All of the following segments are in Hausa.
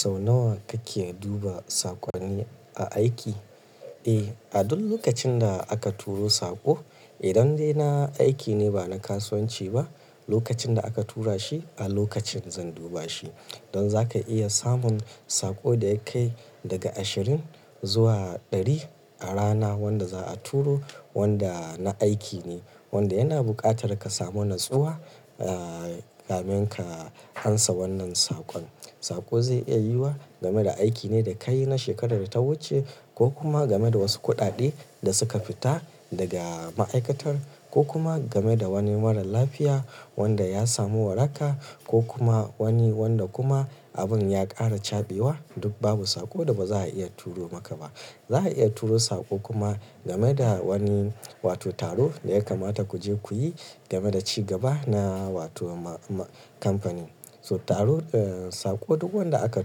Sau nawa kake duba sakonni aiki? Eh, a duk lokacin da aka turo saƙo, idan dai na aiki ne ba na kasuwanci ba, lokacin da aka tura shi a lokacin zan duba shi. Don za ka iya samun saƙo da yakai daga ashirin zuwa ɗari a rana wadda za a turo wadda na aiki ne, wadda yana buƙatar ka samo natsuwa, ah, kamin ka amsa wannan sakon. Saƙo zai iya yiwa game da aiki ne da kayi na shekarar da ta wuce ko kuma game da wasu kuɗaɗe da suka fita daga ma'aikatar ko kuma game da wani marar lafiya wadda ya samu waraka ko kuma wani wadda kuma abin ya ƙara caɓewa duk babu saƙo da ba za a iya turo maka ba. Za a iya turo saƙo kuma game da wani wato taro da ya kamata ku je ku yi game da ci gaba na wato ma-ma kamfani. So taro, ah, saƙo duk wadda aka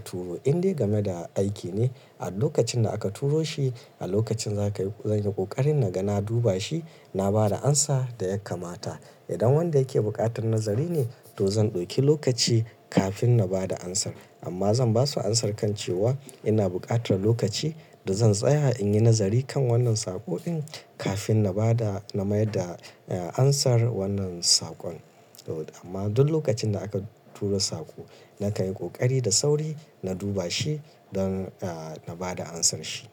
turo in dai game da aiki ne a lokacin da aka turo shi a lokacin za ka yi, zan yi ƙoƙarin na ga na duba shi, na ba da amsa da ya kamata. Idan wadda yake buƙatar nazari ne, to zan ɗauki lokaci kafin na bada amsar amma zan basu amsar kan cewa ina buƙatar lokaci da zan tsaya in yi nazari kan wannan saƙo'in kafin na bada, na mai da, ah, amsar wannan sakon. So amma duk lokacin da aka turo saƙo na kayi ƙoƙari da sauri na duba shi don, ah, na bada amsar shi.